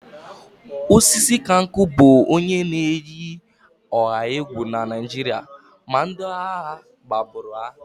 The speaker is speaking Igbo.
Osisikankwu bụ onye na-eyi ọha egwu na Naịjirịa ma ndị agha gbagburu ya